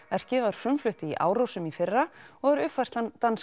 verkið var frumflutt í Árósum í fyrra og er uppfærslan